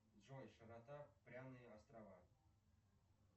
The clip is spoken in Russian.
джой широта пряные острова